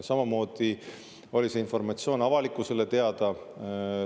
Samamoodi oli see informatsioon avalikkusele teada.